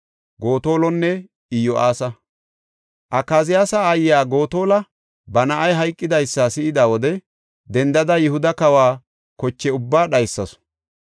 Akaziyaasa aayiya Gotola ba na7ay hayqidaysa si7ida wode dendada Yihuda kawa koche ubbaa dhaysasu.